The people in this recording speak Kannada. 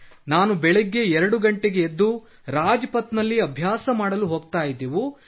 ನಾವು ಬೆಳ್ಳಗ್ಗೆ 2 ಗಂಟೆಗೆ ಎದ್ದು ರಾಜ್ಪಥ್ ನಲ್ಲಿ ಅಭ್ಯಾಸ ಮಾಡಲು ಹೋಗುತ್ತಿದ್ದೆವು